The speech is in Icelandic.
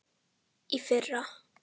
Í fyrra.